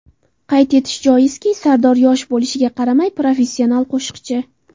Qayd etish joizki, Sardor yosh bo‘lishiga qaramay, professional qo‘shiqchi.